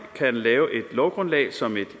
kan lave et lovgrundlag som et